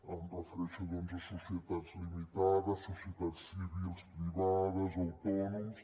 em refereixo doncs a societats limitades societats civils privades autònoms